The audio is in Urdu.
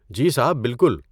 جی صاحب، بالکل۔